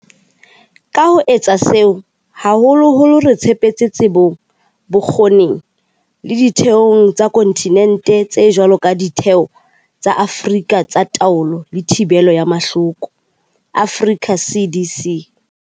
Ka ho etsa seo, haholoholo re tshepetse tsebong, bokgoning le ditheong tsa kontinente tse jwalo ka Ditheo tsa Afrika tsa Taolo le Thibelo ya Mahloko, Africa CDC.